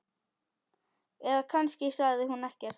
Eða kannski sagði hún ekkert.